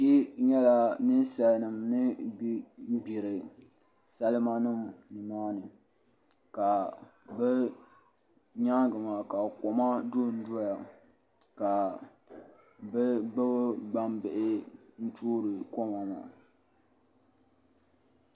N nyɛla ninsalnima ni bɛ n gbiri salma nima nimaani ka bi nyaanŋa maa ka koma dondoya ka bi gbubi gbanbihi n toori koma maa